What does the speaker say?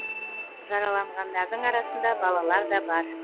жараланғандардың арасында балалар да бар